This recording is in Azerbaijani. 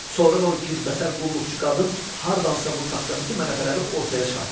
Sonra da o gicbəsər qulluqçu qadın hardansa bu taxtabiti mələfələri ortaya çıxartdı.